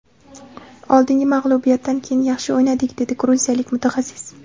Oldingi mag‘lubiyatdan keyin yaxshi o‘ynadik”, dedi gruziyalik mutaxassis.